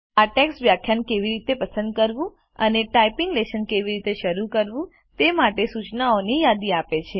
આ ટેક્સ્ટ વ્યાખ્યાન કેવી રીતે પસંદ કરવું અને ટાઇપિંગ લેશન કેવી રીતે શરૂ કરવું તે માટેની સૂચનાઓની યાદી આપે છે